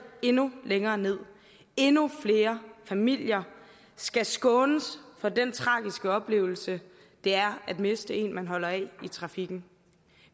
endnu længere nederst endnu flere familier skal skånes for den tragiske oplevelse det er at miste en man holder af i trafikken